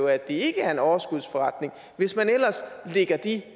at det ikke er en overskudsforretning hvis man ellers lægger de